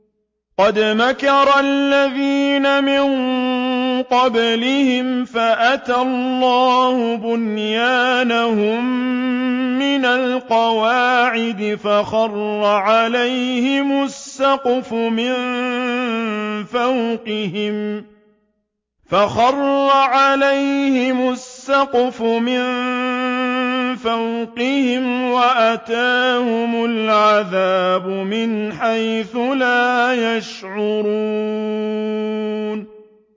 قَدْ مَكَرَ الَّذِينَ مِن قَبْلِهِمْ فَأَتَى اللَّهُ بُنْيَانَهُم مِّنَ الْقَوَاعِدِ فَخَرَّ عَلَيْهِمُ السَّقْفُ مِن فَوْقِهِمْ وَأَتَاهُمُ الْعَذَابُ مِنْ حَيْثُ لَا يَشْعُرُونَ